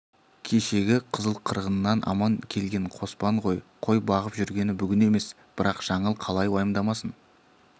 кешегі қызыл қырғыннан аман келген қоспан ғой қой бағып жүргені бүгін емес бірақ жаңыл қалай уайымдамасын